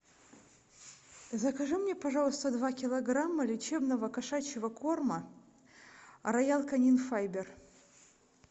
закажи мне пожалуйста два килограмма лечебного кошачего корма роял канин файбер